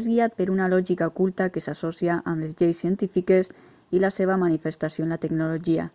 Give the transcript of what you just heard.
és guiat per una lògica oculta que s'associa amb les lleis científiques i la seva manifestació en la tecnologia